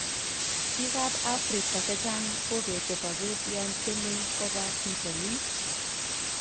Bik kap Africa chechang kobete sobet yontyeme koba Bitonin.